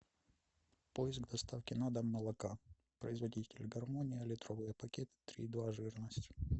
поиск доставки на дом молока производитель гармония литровый пакет три и два жирность